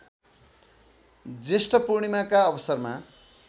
ज्येष्ठपूणिमाका अवसरमा